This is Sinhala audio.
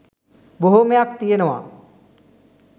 බොහෝමයක් තියෙනවා